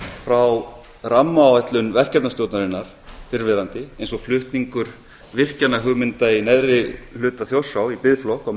frá rammaáætlun verkefnastjórnarinnar fyrrverandi eins og flutningur virkjunarhugmynda í neðri hluta þjórsár í biðflokk á